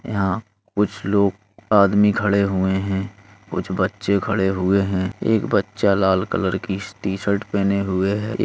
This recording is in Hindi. यहां कुछ लोग आदमी खड़े हुए हैं। कुछ बच्चे खड़े हुए हैं। एक बच्चा लाल कलर की टी-शर्ट पहने हुए है। एक --